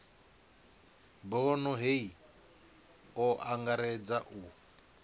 bono hei o angaredza u